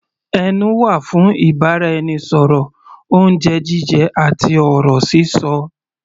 Ẹnu wà fún ìbáraẹnisọ̀rọ̀, oúnjẹ jíjẹ àti ọ̀rọ̀ sísọ.